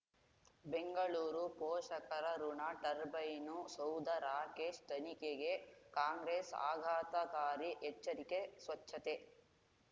ಬೆಂಗಳೂರು ಪೋಷಕರಋಣ ಟರ್ಬೈನು ಸೌಧ ರಾಕೇಶ್ ತನಿಖೆಗೆ ಕಾಂಗ್ರೆಸ್ ಆಘಾತಕಾರಿ ಎಚ್ಚರಿಕೆ ಸ್ವಚ್ಛತೆ